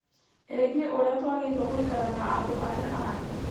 ĩgiĩ ũrĩa twagĩrĩirwo gũikara na andũ arĩa angĩ